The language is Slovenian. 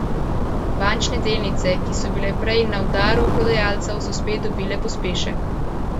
Bančne delnice, ki so bile prej na udaru prodajalcev, so spet dobile pospešek.